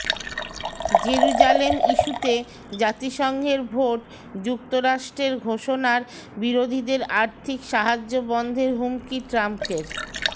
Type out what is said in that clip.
Jerusalem ইস্যুতে জাতিসংঘের ভোট যুক্তরাষ্ট্রের ঘোষণার বিরোধীদের আর্থিক সাহায্য বন্ধের হুমকি ট্রাম্পের